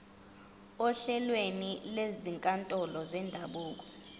ohlelweni lwezinkantolo zendabuko